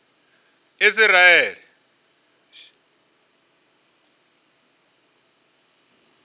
isiraele